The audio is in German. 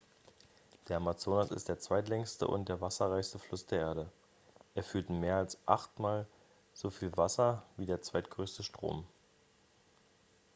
der amazonas ist der zweitlängste und der wasserreichste fluss der erde er führt mehr als achtmal so wie wasser wie der zweitgrößte strom